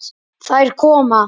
Þær koma.